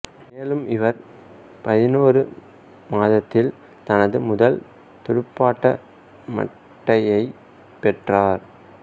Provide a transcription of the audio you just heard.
மேலும் இவர் பதினொரு மாதத்தில் தனது முதல் துடுப்பாட்ட மட்டையைப் பெற்றார்